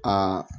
Aa